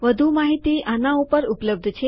વધુ માહિતી આના ઉપર ઉપલબ્ધ છે